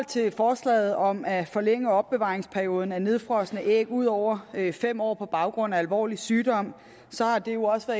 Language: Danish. til forslaget om at forlænge opbevaringsperioden for nedfrosne æg ud over fem år på baggrund af alvorlig sygdom har det jo også